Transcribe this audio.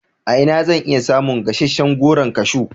A ina zan iya samun gasasshen Goron kashu?